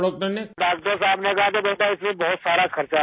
Rajesh Prajapati doctor نے کہا تھا بیٹا اس میں بہت سارا خرچ آئے گا